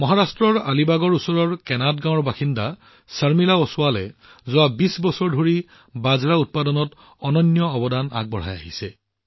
মহাৰাষ্ট্ৰৰ আলিবাগৰ ওচৰৰ কেনাদ গাঁৱৰ বাসিন্দা শৰ্মিলা অছৱালে বিগত ২০ বছৰ ধৰি বাজৰা উৎপাদনত এক অনন্য উপায়েৰে অৱদান আগবঢ়াই আহিছে